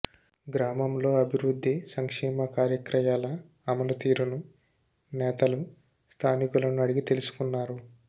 గ్రామంలో అభివృద్ధి సంక్షేమ కార్యక్రయాల అమలు తీరును నేతలు స్థానికులను అడిగి తెలుసుకున్నారు